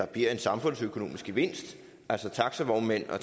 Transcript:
bliver en samfundsøkonomisk gevinst altså taxavognmænd og